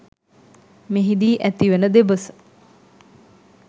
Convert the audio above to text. මෙහිදී ඇතිවන දෙබස